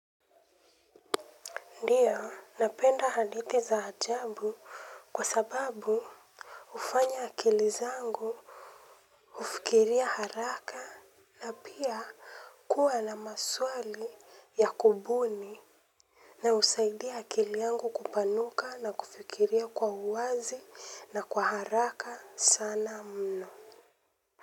Ndio napenda hadithi za ajabu kwa sababu hufanya akili zangu hufikiria haraka na pia kuwa na maswali ya kubuni na husaidia akili yangu kupanuka na kufikiria kwa uwazi na kwa haraka sana mno.